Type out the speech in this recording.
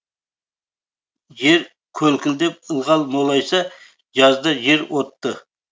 жер көлкідеп ылғал молайса жазда жер отты